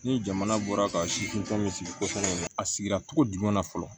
Ni jamana bɔra ka si tɔn min sigi ko in kɔnɔ a sigira togo jumɛn na fɔlɔ